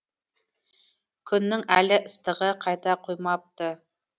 күннің әлі ыстығы қайта қоймапты